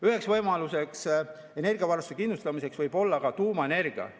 Üks võimalus energiavarustust kindlustada võib-olla tuumaenergia.